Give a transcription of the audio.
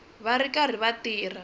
va ri karhi va tirha